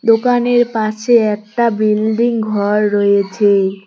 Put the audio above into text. দোকানের পাশে একটা বিল্ডিং ঘর রয়েছে।